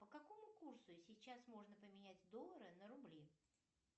по какому курсу сейчас можно поменять доллары на рубли